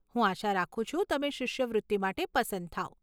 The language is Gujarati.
હું આશા રાખું છું તમે શિષ્યવૃત્તિ માટે પસંદ થાવ.